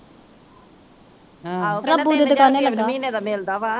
ਆਹੋ ਕਹਿੰਦਾ ਤਿੰਨ ਹਜ਼ਾਰ ਰੁਪਈਆ ਇੱਕ ਮਹੀਨੇ ਦਾ ਮਿਲਦਾ ਵਾ।